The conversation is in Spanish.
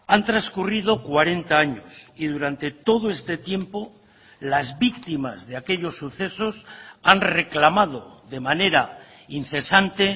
han transcurrido cuarenta años y durante todo este tiempo las víctimas de aquellos sucesos han reclamado de manera incesante